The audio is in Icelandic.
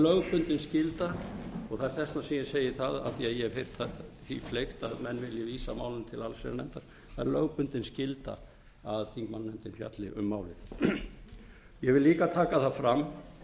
lögbundin skylda og þess vegna segi ég það af því að ég hef heyrt því fleygt að menn vilji vísa málinu til allsherjarnefndar það er lögbundin skylda að þingmannanefndin fjalli um málið ég vil líka taka fram